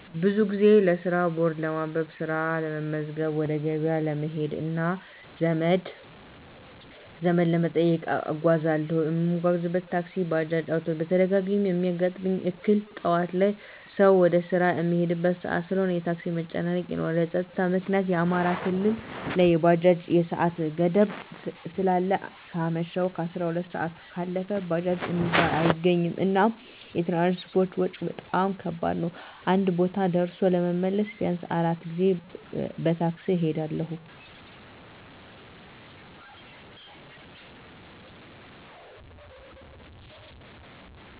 ብዙ ጊዜ ለስራ ቦርድ ለማንበብ፣ ስራ ለመመዝገብ፣ ወደ ገበያ ለመሄድ እና ዘመድ ለመጠየቅ እጓዛለሁ። እምጓጓዝበት ታክሲ፣ ባጃጅ፣ አዉቶቢስ ነዉ። በተደጋጋሚ እሚያጋጥመኝ እክል ጠዋት ላይ ሰዉ ወደ ስራ እሚሄድበት ሰአት ስለሆነ የታክሲ መጨናነቅ ይኖራል። በፀጥታዉ ምክኒያት አማራ ክልል ላይ የባጃጅ የሰአት ገደብ ስላለ ከአመሸሁ 12 ሰአት ካለፈ ባጃጅ እሚባል አይገኝም። እና የትራንስፖርት ወጭ በጣም ከባድ ነዉ አንድ ቦታ ደርሶ ለመመለስ ቢያንስ 4 ጊዜ በታክሲ እሄዳለሁ።